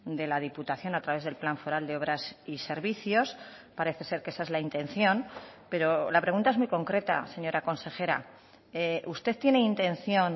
de la diputación a través del plan foral de obras y servicios parece ser que esa es la intención pero la pregunta es muy concreta señora consejera usted tiene intención